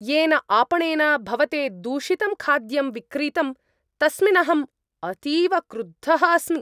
येन आपणेन भवते दूषितं खाद्यं विक्रीतं तस्मिन् अहम् अतीव क्रुद्धः अस्मि।